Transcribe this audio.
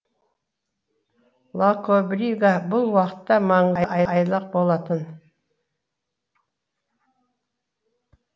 лакобрига бұл уақытта маңы айлақ болатын